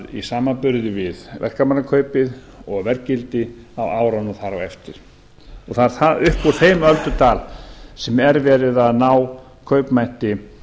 í samanburði við verkamannakaupið og verðgildi á árunum þar á eftir það er upp úr þeim öldudal sem er verið að ná kaupmætti